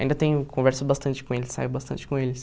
Ainda tenho conversa bastante com eles, saio bastante com eles.